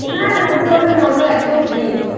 না ওটা Normal একদম Free I